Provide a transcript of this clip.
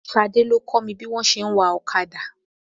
Ṣadé ló kọ́ mi bí wọn ti ń wa ọ̀kadà.